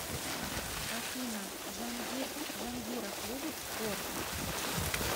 афина джангир джангиров любит спорт